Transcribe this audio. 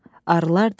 Arılar dedilər: